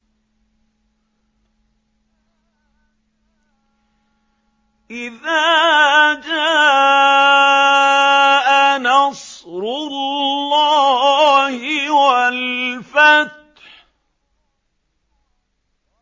إِذَا جَاءَ نَصْرُ اللَّهِ وَالْفَتْحُ